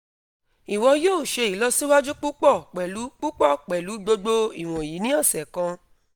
iwọ yoo ṣe ilọsiwaju pupọ pẹlu pupọ pẹlu gbogbo iwọnyi ni ọsẹ kan